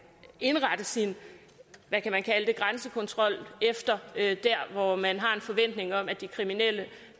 indrette sin hvad kan man kalde det grænsekontrol der hvor man har en forventning om at de kriminelle